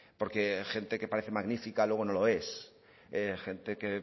porque gente que parece magnífica luego no lo es gente que